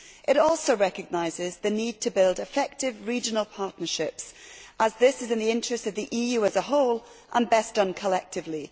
It also recognises the need to build effective regional partnerships, as this is in the interests of the EU as a whole and best done collectively.